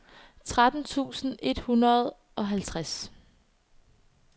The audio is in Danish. tretten tusind et hundrede og halvtreds